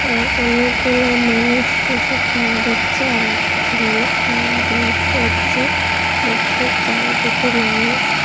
আর অনেকগুলা মানুষ বসে খেলা দেখছে আর কিছু মানুষ খেলাধুলা করছে মাঠের চারিদিকে মানুষ।